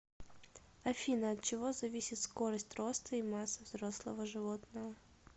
афина от чего зависит скорость роста и масса взрослого животного